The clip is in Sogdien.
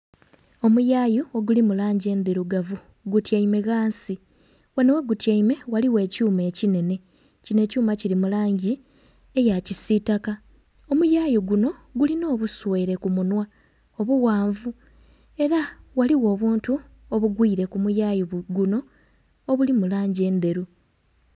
Omuyayu oguli mu langi endhirugavu gutyaime ghansi. Ghano ghegutyaime ghaligho ekyuma ekinhenhe. Kinho ekyuma kili mu langi eya kisitaka. Omuyayu guno gulina obusweere ku munhwa obughanvu, era ghaligho obuntu obugwire ku muyayu guno obuli mu langi endheru.